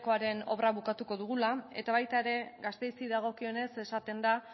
ykoaren obra bukatuko dugula eta baita ere gasteizi dagokionez esaten da